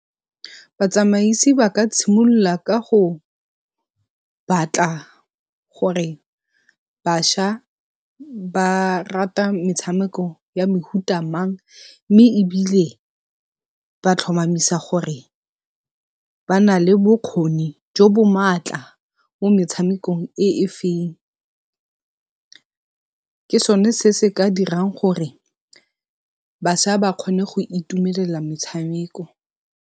Batsamaisi ba ka tshimolola ka go batla gore bašwa ba rata metshameko ya mehuta mang, mme ebile ba tlhomamisa gore ba nale bokgoni jo bo maatla mo metshamekong e e feng, ke sone se se ka dirang gore bašwa ba kgone go itumelela metshameko.